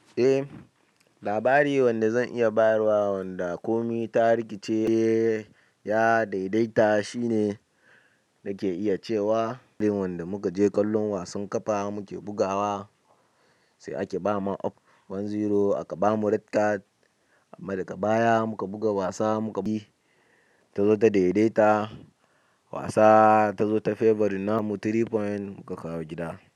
Eh labari wanda zan iya bayarwa wanda komi ta rikice ya daidaita shine nake iya cewa, irin wanda muka je kallon wasan ƙafa muke bugawa sai aka ba man up one zero aka bamu red card amma daga baya muka buga wasa muka bi ta zo ta daidaita wasa ta zo ta yi favoring namu three point muka kawo gida.